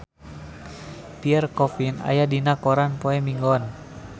Pierre Coffin aya dina koran poe Minggon